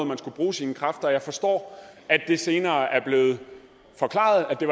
man skulle bruge sine kræfter jeg forstår at det senere er blevet forklaret at det